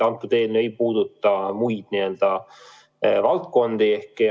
See eelnõu ei puuduta muid valdkondi.